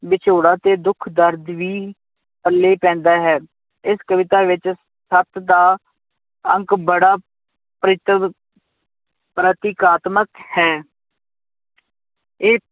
ਵਿਛੋੜਾ ਤੇ ਦੁਖ ਦਰਦ ਵੀ ਪੱਲੇ ਪੈਂਦਾ ਹੈ, ਇਸ ਕਵਿਤਾ ਵਿੱਚ ਸੱਤ ਦਾ ਅੰਕ ਬੜਾ ਪ੍ਰੀਤਵ ਪ੍ਰਤੀਕਾਤਮਕ ਹੈ ਇਹ